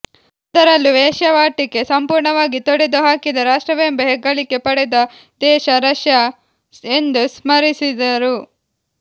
ಅದರಲ್ಲೂ ವೇಶ್ಯಾವಾಟಿಕೆ ಸಂಪೂರ್ಣವಾಗಿ ತೊಡೆದು ಹಾಕಿದ ರಾಷ್ಟ್ರವೆಂಬ ಹೆಗ್ಗಳಿಕೆ ಪಡೆದ ದೇಶ ರಷ್ಯಾ ಎಂದು ಸ್ಮರಿಸಿದರು